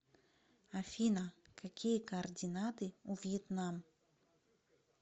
афина какие координаты у вьетнам